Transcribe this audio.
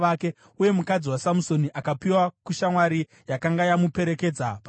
Uye mukadzi waSamusoni akapiwa kushamwari yakanga yamuperekedza pasvitsa.